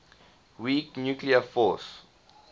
weak nuclear force